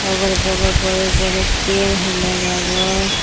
अगल-बगल बड़े-बड़े पेड़ हइ लगावल।